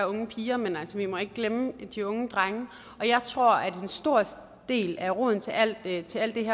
unge piger men vi må ikke glemme de unge drenge og jeg tror at en stor del af roden til alt det